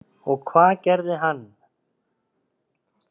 Og hvað gerði hann?